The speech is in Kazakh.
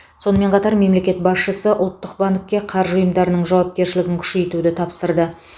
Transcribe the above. сонымен қатар мемлекет басшысы ұлттық банкке қаржы ұйымдарының жауапкершілігін күшейтуді тапсырды